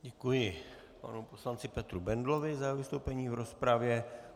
Děkuji panu poslanci Petru Bendlovi za jeho vystoupení v rozpravě.